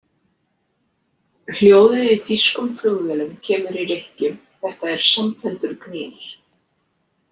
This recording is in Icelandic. Hljóðið í þýskum flugvélum kemur í rykkjum, þetta er samfelldur gnýr.